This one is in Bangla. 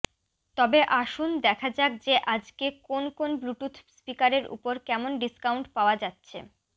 তবে আসুন দেখা যাক যে আজকে কোন কোন ব্লুটুথ স্পিকারের ওপর কেমন ডিস্কাউন্ট পাওয়া যাচ্ছে